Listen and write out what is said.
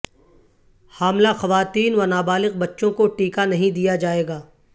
حاملہ خواتین و نابالغ بچوں کو ٹیکہ نہیں دیا جائیگا